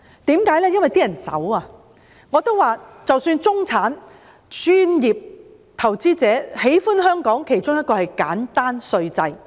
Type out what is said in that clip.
我也說過，中產人士、專業人士、投資者，喜歡香港的其中一個原因是簡單稅制。